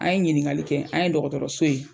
An ye ɲiniŋali kɛ, an ye dɔgɔtɔrɔso ye